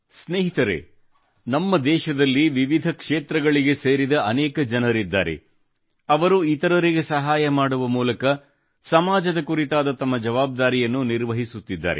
ಸ್ನೇಹಿತರೇ ನಮ್ಮ ದೇಶದಲ್ಲಿ ವಿವಿಧ ಕ್ಷೇತ್ರಗಳಿಗೆ ಸೇರಿದ ಅನೇಕ ಜನರಿದ್ದಾರೆ ಅವರು ಇತರರಿಗೆ ಸಹಾಯ ಮಾಡುವ ಮೂಲಕ ಸಮಾಜದ ಕುರಿತಾದ ತಮ್ಮ ಜವಾಬ್ದಾರಿಯನ್ನು ನಿರ್ವಹಿಸುತ್ತಿದ್ದಾರೆ